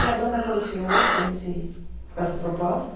E a banda continuou com esse, com essa proposta?